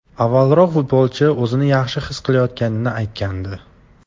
Avvalroq futbolchi o‘zini yaxshi his qilayotganini aytgandi.